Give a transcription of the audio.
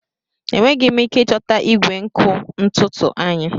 Enweghị m ike ịchọta igwe nkụ ntutu anyị.